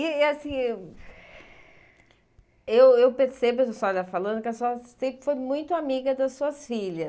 E, assim, eu eu percebo, a senhora falando, que a senhora sempre foi muito amiga das suas filhas.